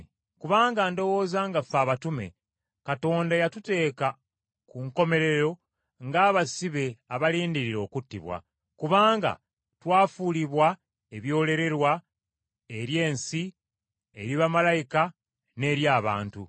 Kubanga ndowooza nga ffe abatume, Katonda yatuteeka ku nkomerero ng’abasibe abalindirira okuttibwa, kubanga twafuulibwa ekyerolerwa eri ensi, eri bamalayika n’eri abantu.